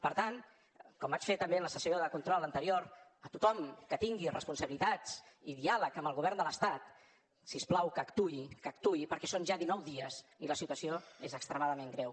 per tant com vaig fer també en la sessió de control anterior a tothom que tingui responsabilitats i diàleg amb el govern de l’estat si us plau que actuï que actuï perquè són ja dinou dies i la situació és extremadament greu